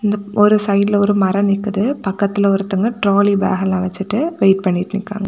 ஒரு சைடுல ஒரு மரம் நிக்குது பக்கத்துல ஒருத்தங்க ட்ராலி பேக் எல்லாம் வச்சுட்டு வெயிட் பண்ணிட்டு இருக்கா.